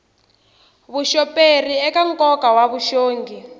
vuxoperi eka nkoka wa vuxongi